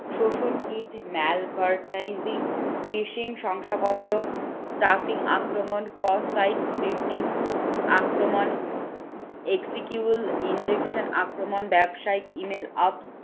শংসাপত্র আক্রমণ ব্যবসায়িক email